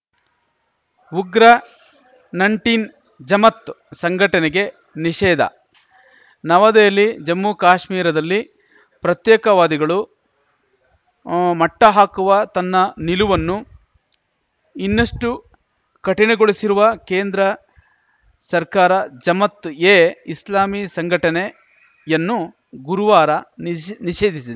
ಉಗ್ರ ನಂಟಿನ್ ಜಮಾತ್‌ ಸಂಘಟನೆಗೆ ನಿಷೇಧ ನವದೆಹಲಿ ಜಮ್ಮು ಕಾಶ್ಮೀರದಲ್ಲಿ ಪ್ರತ್ಯೇಕವಾದಿಗಳು ಮಟ್ಟಹಾಕುವ ತನ್ನ ನಿಲುವನ್ನು ಇನ್ನಷ್ಟುಕಠಿಣಗೊಳಿಸಿರುವ ಕೇಂದ್ರ ಸರ್ಕಾರ ಜಮಾತ್‌ ಎ ಇಸ್ಲಾಮಿ ಸಂಘಟನೆಯನ್ನು ಗುರುವಾರ ನಿಷೇ ನಿಷೇಧಿಸಿದೆ